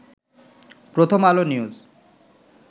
প্রথম আলো নিউজ